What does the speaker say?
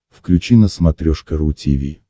включи на смотрешке ру ти ви